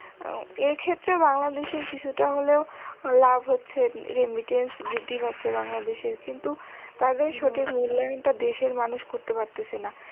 এর ক্ষেত্রে বাংলাদেশের কিছুটা হলেও লাভ হচ্ছে remidience বৃদ্ধি পাচ্ছে বাংলাদেশের তাদের সঠিক মূল্যায়নটা দেশের মানুষ করতে পারতেসে না।